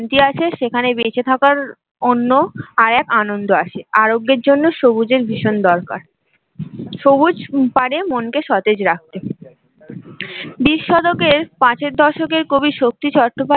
শান্তি আছে সেখানে বেচে থাকার অন্য আর এক আনন্দ আছে আরোগ্যের জন্য সবুজের ভীষণ দরকার, সবুজ পারে মন কে সতেজ রাখতে বিশ শতকের পাঁচের দশক এ কবি শক্তি চট্টোপাধ্যায়